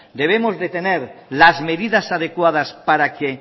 debemos de tener las medidas adecuadas para que